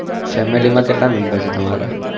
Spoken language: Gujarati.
family માં કેટલા mumber છે તમારે